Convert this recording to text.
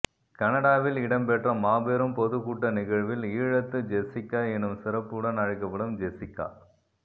கனடாவில் இடம்பெற்ற மாபெரும் பொதுகூட்ட நிகழ்வில் ஈழத்து ஜெசிக்கா எனச் சிறப்புடன் அழைக்கப்படும் ஜெசிக்கா